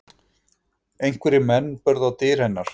Einhverjir menn börðu á dyr hennar